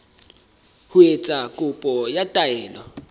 ho etsa kopo ya taelo